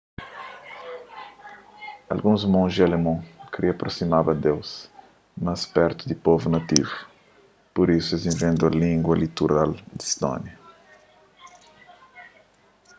alguns monji alemon kria aprosimaba deus más pertu di povu nativu pur isu es inventa língua literal di stónia